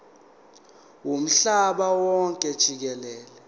womhlaba wonke jikelele